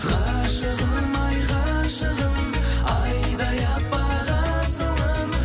ғашығым ай ғашығым айдай аппақ асылым